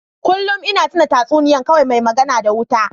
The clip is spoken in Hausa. Kullun ina tuna tatsuniya Kwai mai magana da wuta.